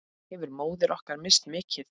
Hefur móðir okkar misst mikið.